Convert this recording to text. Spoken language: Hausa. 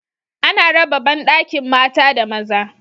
Ana raba ban bandakin mata da maza